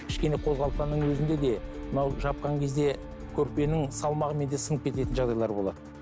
кішкене қозғалтқанның өзінде де мынау жапқан кезде көрпенің салмағымен де сынып кететін жағдайлар болады